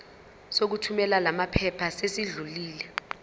sokuthumela lamaphepha sesidlulile